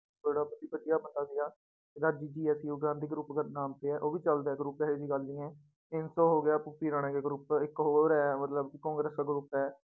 ਵਧੀਆ ਬੰਦਾ ਸੀਗਾ ਗਾਂਧੀ group ਦੇ ਨਾਮ ਤੇ ਹੈ ਉਹ ਵੀ ਚੱਲਦਾ ਹੈ group ਇਹ ਜਿਹੀ ਗੱਲ ਨੀ ਹੈ ਰਾਣੇ ਕੇ group ਇੱਕ ਹੋਰ ਹੈ ਮਤਲਬ ਕਾਂਗਰਸ ਦਾ group ਹੈ।